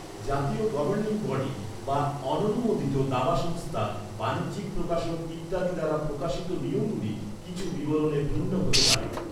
জাতীয় governing body, বা অননুমোদিত দাবা সংস্থা, বাণিজ্যিক প্রকাশক ইত্যাদি দ্বারা প্রকাশিত নিয়মগুলি কিছু বিবরণে ভিন্ন হতে পারে।